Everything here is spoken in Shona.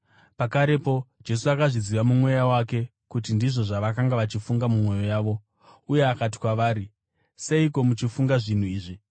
Pakarepo Jesu akazviziva mumweya wake kuti ndizvo zvavakanga vachifunga mumwoyo yavo, uye akati kwavari, “Seiko muchifunga zvinhu izvi?